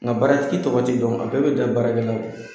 Nka baaratigi tɔgɔ ti dɔn a bɛɛ be dan baarakɛla la